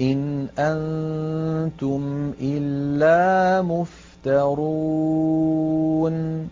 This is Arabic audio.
إِنْ أَنتُمْ إِلَّا مُفْتَرُونَ